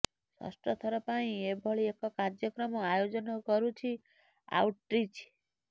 ଷଷ୍ଠଥର ପାଇଁ ଏଭଳି ଏକ କାର୍ଯ୍ୟକ୍ରମ ଆୟୋଜନ କରୁଛି ଆଉଟ୍ରିଚ୍